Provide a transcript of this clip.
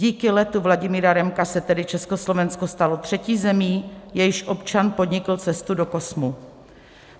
Díky letu Vladimíra Remka se tedy Československo stalo třetí zemí, jejíž občan podnikl cestu do kosmu.